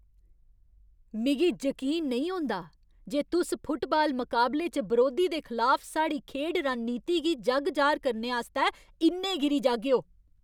मिगी जकीन नेईं होंदा जे तुस फुटबाल मकाबले च बरोधी दे खलाफ साढ़ी खेढ रणनीति गी जग जाह्‌र करने आस्तै इन्ने गिरी जागेओ।